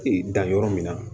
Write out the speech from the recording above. Ee dan yɔrɔ min na